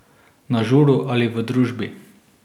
Na žuru ali v družbi.